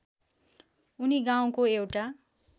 उनी गाउँको एउटा